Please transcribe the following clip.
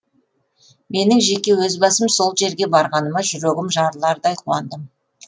менің жеке өз басым сол жерге барғаныма жүрегім жарылардай қуандым